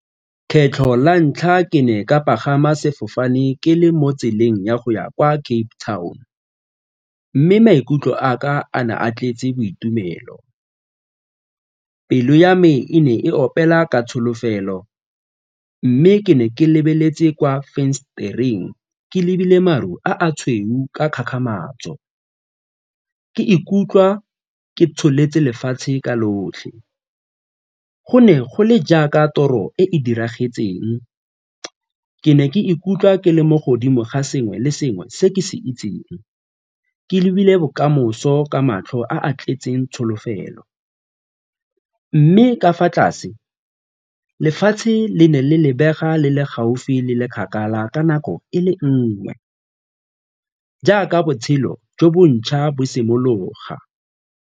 Kgetlho la ntlha ke ne ka pagama sefofane ke le mo tseleng ya go ya kwa Cape Town mme maikutlo a ka a na a tletse boitumelo, pelo ya me e ne e opela ka tsholofelo mme ke ne ke lebeletse kwa fensetereng ke lebile maru a a tshweu ka kgakgamatso ke ikutlwa ke tsholetse lefatshe ka lotlhe. Go ne go le jaaka toro e e diragetseng, ke ne ke ikutlwa ke le mo godimo ga sengwe le sengwe se ke se itseng, ke lebile bokamoso ka matlho a a tletseng tsholofelo mme ka fa tlase, lefatshe le ne le lebega le le gaufi le le kgakala ka nako e le nngwe jaaka botshelo jo bo ntšha bo simologa.